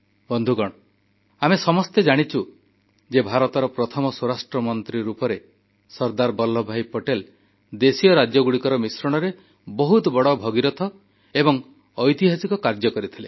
ବନ୍ଧୁଗଣ ଆମେ ସମସ୍ତେ ଜାଣିଛୁ ଯେ ଭାରତର ପ୍ରଥମ ସ୍ୱରାଷ୍ଟ୍ର ମନ୍ତ୍ରୀ ରୂପେ ସର୍ଦ୍ଦାର ବଲ୍ଲଭଭାଇ ପଟେଲ ଦେଶୀୟ ରାଜ୍ୟଗୁଡ଼ିକର ମିଶ୍ରଣରେ ବହୁତ ବଡ଼ ଭଗୀରଥ ପ୍ରୟାସ ତଥା ଐତିହାସିକ କାର୍ଯ୍ୟ କରିଥିଲେ